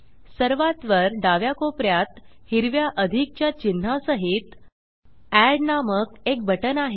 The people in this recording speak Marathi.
सर्वात वर डाव्या कोपऱ्यात हिरव्या अधिक च्या चिन्हा सहित एड नामक एक बटन आहे